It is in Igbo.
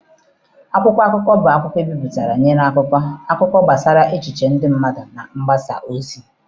Akwụkwọ akụkọ bụ akwụkwọ ebipụtara nwere akụkọ, akụkọ gbasara echiche ndị mmadụ na mgbasa ozi.